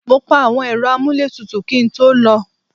Mo pa àwọn Ẹ̀rọ amuletutu kí n tó lọ.